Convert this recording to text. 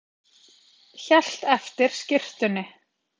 Hélt eftir skyrtunni